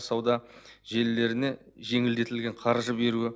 сауда желілеріне жеңілдетілген қаржы беруі